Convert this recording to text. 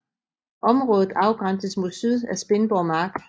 Området afgrænses mod syd af Spindborg mark